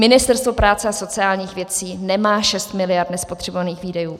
Ministerstvo práce a sociálních věcí nemá 6 miliard nespotřebovaných výdajů.